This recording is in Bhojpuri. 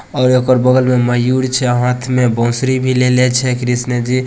और एकर बगल में मयूर छै हाथ में बांसुरी भी लेला छै कृष्ण जी।